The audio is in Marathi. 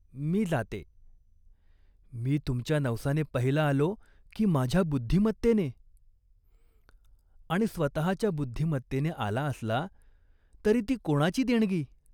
मी जाते." "मी तुमच्या नवसाने पहिला आलो, की माझ्या बुद्धिमत्तेने ?" "आणि स्वतःच्या बुद्धिमत्तेने आला असला, तरी ती कोणाची देणगी ?